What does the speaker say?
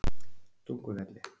Tungufelli